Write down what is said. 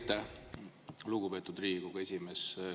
Aitäh, lugupeetud Riigikogu esimees!